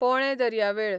पोळे दर्यावेळ